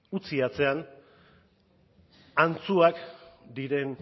utzi atzean antzuak diren